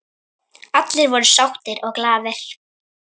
Allir voru sáttir og glaðir.